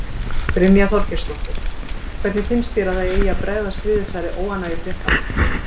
Brynja Þorgeirsdóttir: Hvernig finnst þér að það eigi að bregðast við þessari óánægju fréttamanna?